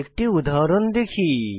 একটি উদাহরণ দেখি